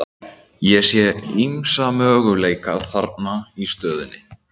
Ég sé ýmsa möguleika þarna í stöðunni.